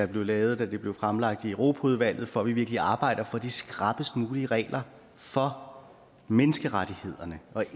blev lavet da det blev fremlagt i europaudvalget for at vi virkelig arbejder for de skrappest mulige regler for menneskerettighederne og